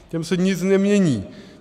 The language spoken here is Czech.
Těm se nic nemění.